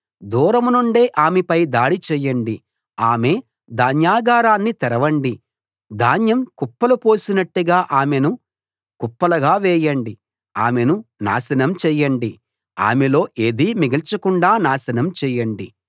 దూరం నుండే ఆమెపై దాడి చేయండి ఆమె ధాన్యాగారాన్ని తెరవండి ధాన్యం కుప్పలు పోసినట్టుగా ఆమెను కుప్పలుగా వేయండి ఆమెను నాశనం చేయండి ఆమెలో ఏదీ మిగల్చకుండా నాశనం చేయండి